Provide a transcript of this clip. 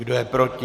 Kdo je proti?